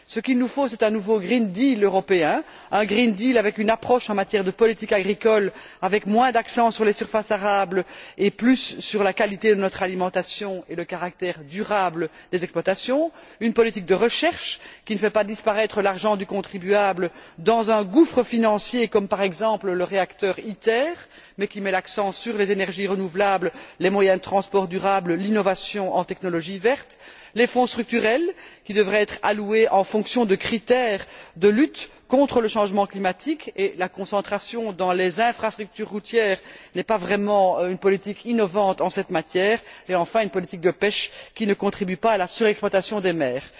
Ce qu'il nous faut, c'est un nouveau green deal européen, un green deal avec une approche en matière de politique agricole, avec moins d'accent sur les surfaces arables et plus sur la qualité de notre alimentation et le caractère durable des exploitations, une politique de recherche qui ne fait pas disparaître l'argent du contribuable dans un gouffre financier, comme par exemple le réacteur Iter, mais qui met l'accent sur les énergies renouvelables, les moyens de transport durables, l'innovation en technologies vertes, les Fonds structurels qui devraient être alloués en fonction de critères de lutte contre le changement climatique et la concentration dans les infrastructures routières n'est pas vraiment une politique innovante en la matière et, enfin, une politique de pêche qui ne contribue pas à la surexploitation des mers.